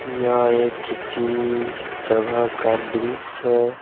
यह एक किसी जगह का दृश्य है।